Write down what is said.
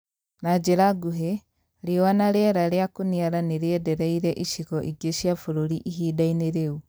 Na njĩra nguhĩ riũa na rĩera rĩa kũniara nĩrĩendereire icigo ingĩ cia bũrũri ihinda-ini rĩu